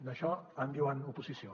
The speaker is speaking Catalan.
d’això en diuen oposició